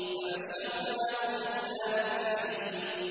فَبَشَّرْنَاهُ بِغُلَامٍ حَلِيمٍ